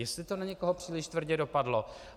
Jestli to na někoho příliš tvrdě dopadlo.